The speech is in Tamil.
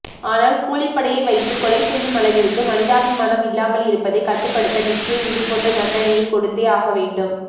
ஆனால் கூலிப்படையை வைத்து கொலை செய்யும் அளவிற்கு மனிதாபிமானம் இல்லாமல் இருப்பதை கட்டுப்படுத்த நிச்சயம் இதுபோன்ற தண்டனையை கொடுத்தே ஆகவேண்டும்